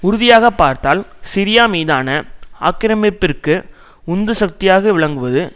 உறுதியாகப் பார்த்தால் சிரியா மீதான ஆக்கிரமிப்பிற்கு உந்து சக்தியாக விளங்குவது